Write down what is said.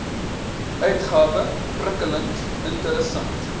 uitgawe prikkelend interessant